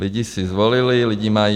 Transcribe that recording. Lidi si zvolili, lidi mají.